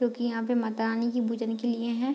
क्योंकि यहाँ पे माता रानी के भुजा निकली हुई है।